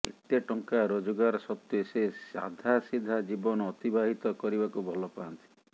ଏତେ ଟଙ୍କା ରୋଜଗାର ସତ୍ତ୍ୱେ ସେ ସାଧାସିଧା ଜୀବନ ଅତିବାହିତ କରିବାକୁ ଭଲ ପାଆନ୍ତି